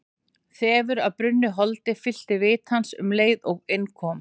Þefur af brunnu holdi fyllti vit hans um leið og inn kom.